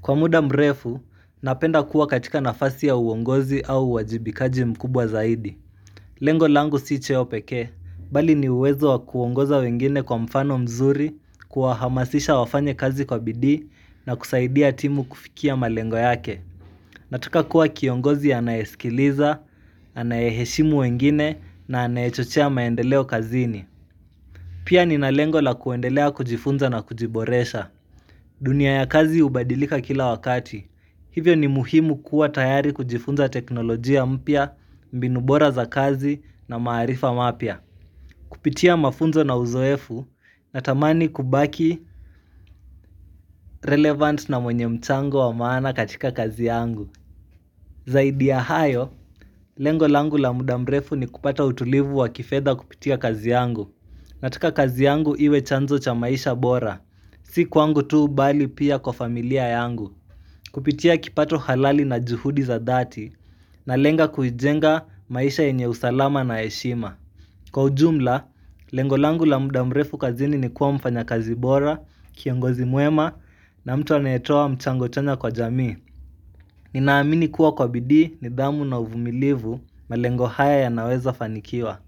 Kwa muda mrefu napenda kuwa katika nafasi ya uongozi au wajibikaji mkubwa zaidi Lengo langu si cheo peke, bali ni uwezo wa kuongoza wengine kwa mfano mzuri, kuahamasisha wafanye kazi kwa bidii na kusaidia timu kufikia malengo yake. Nataka kuwa kiongozi anayesikiliza, anayeshimu wengine na anayechochia maendeleo kazini. Pia ni na lengo la kuendelea kujifunza na kujiboresha. Dunia ya kazi ubadilika kila wakati. Hivyo ni muhimu kuwa tayari kujifunza teknolojia mpya, mbinu bora za kazi na maarifa mapya. Kupitia mafunzo na uzoefu, natamani kubaki relevant na mwenye mchango wa maana katika kazi yangu. Zaidi ya hayo, lengo langu la muda mrefu ni kupata utulivu wa kifedha kupitia kazi yangu. Nataka kazi yangu iwe chanzo cha maisha bora. Si kwangu tu bali pia kwa familia yangu. Kupitia kipato halali na juhudi za dhati na lenga kujenga maisha enye usalama na heshima Kwa ujumla, lengo langu la muda mrefu kazini ni kuwa mfanya kazi bora, kiongozi mwema na mtu anayetowa mchango chanya kwa jamii Ninaamini kuwa kwa bidii ni dhamu na uvumilivu malengo haya ya naweza fanikiwa.